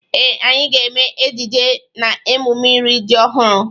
Ee, anyị ga-eme ejije n'emụme iri ji ọhụru.